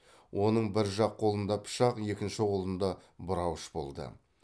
оның бір жақ қолында пышақ екінші қолында бұрауыш болды